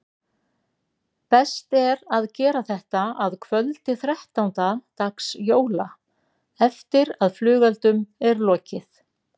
Best er að gera þetta að kvöldi þrettánda dags jóla eftir að flugeldum er lokið.